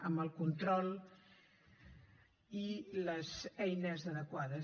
amb el control i les eines adequades